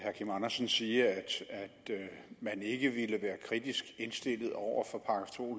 herre kim andersen sige at man ikke ville være kritisk indstillet over for § to